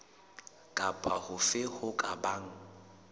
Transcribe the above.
kapa hofe ho ka bang